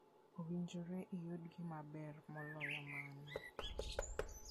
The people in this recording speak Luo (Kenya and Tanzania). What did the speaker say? Owinjore iyud gima ber moloyo mano.